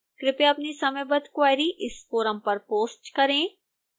कृपया अपनी समयबद्ध क्वेरी इस फोरम पर पोस्ट करें